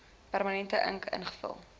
permanente ink ingevul